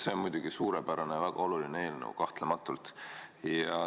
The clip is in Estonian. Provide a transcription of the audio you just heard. See on muidugi suurepärane ja väga oluline eelnõu, kahtlematult.